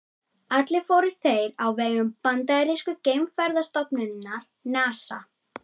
Allir fóru þeir á vegum bandarísku geimferðastofnunarinnar NASA.